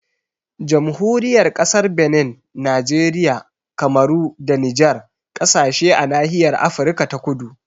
Jamhuriyar Kasar Benin, Nijeriya, Kamaru da Nijar kasashe a nahiyar Afirka ta kudu